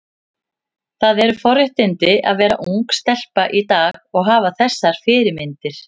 Það eru forréttindi að vera ung stelpa í dag og hafa þessar fyrirmyndir.